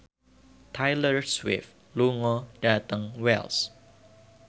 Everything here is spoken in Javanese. Taylor Swift lunga dhateng Wells